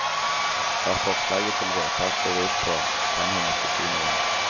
Hva forslaget til vedtak går ut på kan hun ikke si noe om.